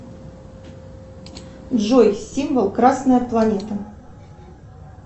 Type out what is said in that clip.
джой символ красная планета